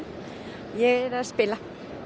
ég er að spila